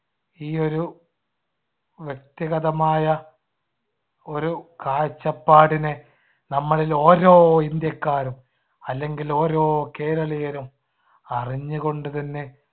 ഈ ഒരു വ്യക്തിഗതമായ ഒരു കാഴ്ചപ്പാടിനെ നമ്മളിൽ ഓരോ ഇന്ത്യക്കാരും അല്ലെങ്കിൽ ഓരോ കേരളീയനും അറിഞ്ഞുകൊണ്ടുതന്നെ